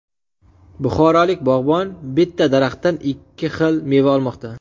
Buxorolik bog‘bon bitta daraxtdan ikki xil meva olmoqda.